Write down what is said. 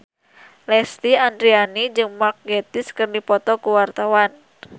Lesti Andryani jeung Mark Gatiss keur dipoto ku wartawan